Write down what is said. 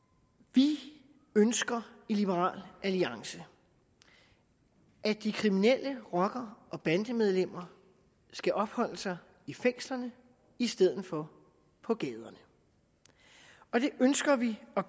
vi ønsker i liberal alliance at de kriminelle rocker og bandemedlemmer skal opholde sig i fængslerne i stedet for på gaderne og det ønsker vi at